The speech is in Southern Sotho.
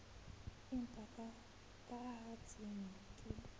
empa ka ha tshenyo ke